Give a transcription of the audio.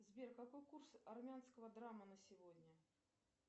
сбер какой курс армянского драма на сегодня